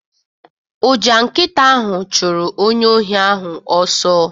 Ụja nkịta ahụ chụrụ onye ohi ahụ ọsọ